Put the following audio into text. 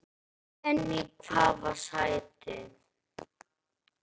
En í hvaða sæti?